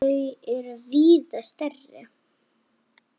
Þau er víða stærri.